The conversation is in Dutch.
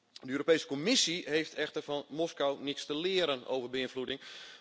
De Europese Commissie heeft echter van Moskou niets te leren over beïnvloeding.